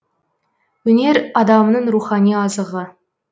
өнер адамның рухани азығы